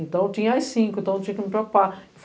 Então, tinha as cinco, então eu tinha que me preocupar.